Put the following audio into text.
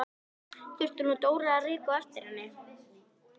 Þurfti nú Dóra að reka á eftir henni!